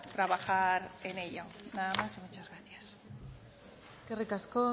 trabajar en ello nada más y muchas gracias eskerrik asko